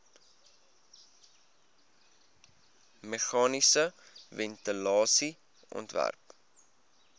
meganiese ventilasie ontwerp